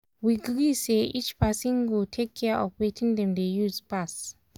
we gree say each person go take care of wetin dem dey use pass.